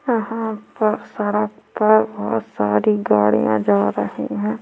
यहाँ अब्बड़ सारा और बहुत सारी गाड़िया जा रही हैं।